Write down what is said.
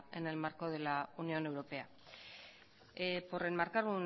en el marco de la unión europea por enmarcar